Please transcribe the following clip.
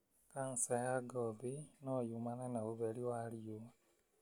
Canca ya ngothi no yumane na ũtheri wa riũa.